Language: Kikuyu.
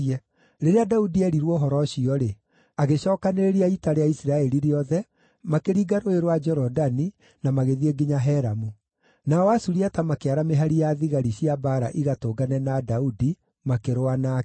Rĩrĩa Daudi eerirwo ũhoro ũcio-rĩ, agĩcookanĩrĩria ita rĩa Isiraeli rĩothe, makĩringa Rũũĩ rwa Jorodani na magĩthiĩ nginya Helamu. Nao Asuriata makĩara mĩhari ya thigari cia mbaara igatũngane na Daudi, makĩrũa nake.